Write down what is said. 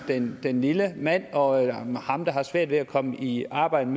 den den lille mand og ham der har svært ved at komme i arbejde